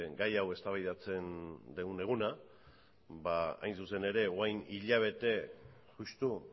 gai hau eztabaidatzen degun eguna ba hain zuzen ere orain hilabete justu